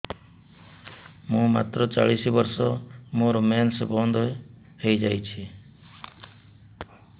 ମୁଁ ମାତ୍ର ଚାଳିଶ ବର୍ଷ ମୋର ମେନ୍ସ ବନ୍ଦ ହେଇଯାଇଛି